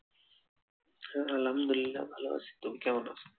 হ্যা, আলহামদুলিল্লাহ ভাল আছি, তুমি কেমন আছো?